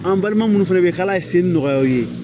An balima munnu fana bɛ k'a la ye sen nɔgɔya o ye